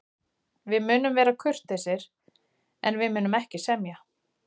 Við munum vera kurteisir, en við munum ekki semja.